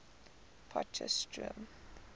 potchefstroom